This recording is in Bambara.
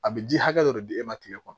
A bɛ ji hakɛ dɔ de di e ma tile kɔnɔ